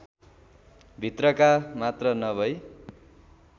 भित्रका मात्र नभै